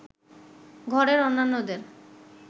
ঘরের অন্যান্যদের